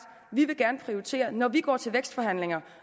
vi vil gerne prioritere når vi går til vækstforhandlinger